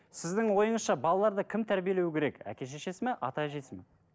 сіздің ойыңызша балаларды кім тәрибелеу керек әке шешесі мен ата әжесі ме